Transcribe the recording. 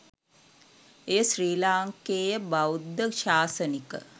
එය ශ්‍රී ලාංකේය බෞද්ධ ශාසනික